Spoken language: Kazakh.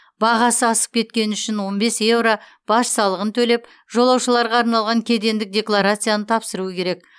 бағасы асып кеткені үшін он бес еуро баж салығын төлеп жолаушыларға арналған кедендік декларацияны тапсыру керек